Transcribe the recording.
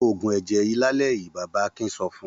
Lo òògùn ẹ̀jẹ̀ yìí lálẹ́ yìí! Bàbá Akin sọ fún un.